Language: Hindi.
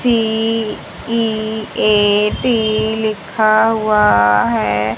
सी_ई_ए_टी लिखा हुआ है।